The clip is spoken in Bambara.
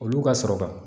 Olu ka sɔrɔ ka